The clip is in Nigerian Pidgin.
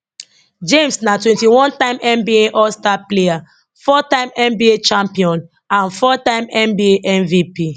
james na twenty one time nba allstar player four time nba champion and four time nba mvp